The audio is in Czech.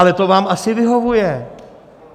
Ale to vám asi vyhovuje?